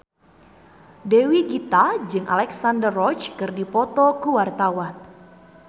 Dewi Gita jeung Alexandra Roach keur dipoto ku wartawan